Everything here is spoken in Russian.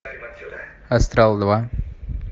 астрал два